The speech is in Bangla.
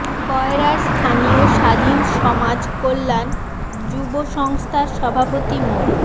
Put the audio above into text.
কয়রার স্থানীয় স্বাধীন সমাজ কল্যান যুব সংস্থার সভাপতি মো